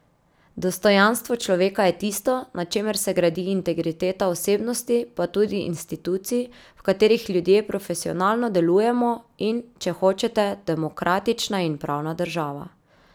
Dostojanstvo človeka je tisto, na čemer se gradi integriteta osebnosti pa tudi institucij, v katerih ljudje profesionalno delujemo, in, če hočete, demokratična in pravna država.